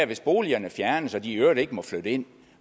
hvis boligerne fjernes og de i øvrigt ikke må flytte ind